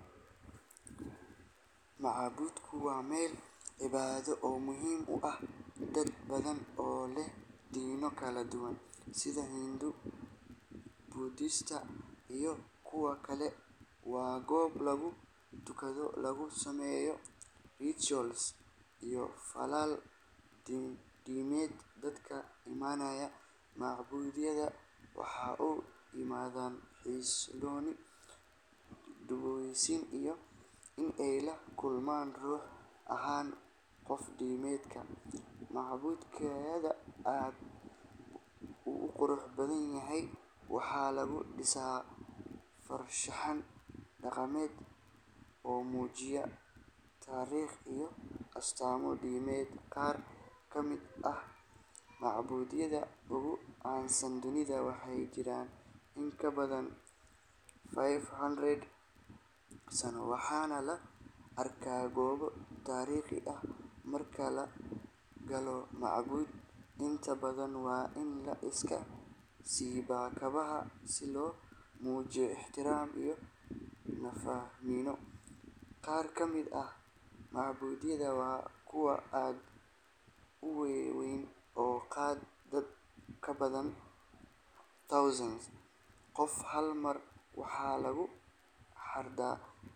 Waa meel cobaado oo muhiim ah, sida hindu iyo kuwa kale, waa goob lagu tukado, waxaa u imaadan xasilooni iyo in aay lakulmaan qof kufican, wuu qurux badan yahay, wuxuu mujiya tariiq, qaar kamid ah kuwa ugu caansan, waxaa la arkaa goobo tariiq ah, waa liska siiba kabaha, waa kuwa aad uweyn, oo qaada dad badan.